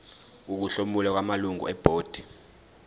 ukuhlomula kwamalungu ebhodi